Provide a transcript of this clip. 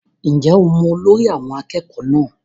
Ǹjẹ́ o mọ olórí àwọn akẹ́kọ̀ọ́ náà?